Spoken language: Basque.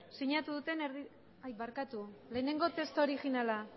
sinatu duten ai barkatu lehenengo testu originala